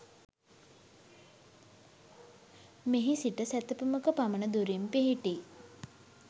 මෙහි සිට සැතපුමක පමණ දුරින් පිහිටි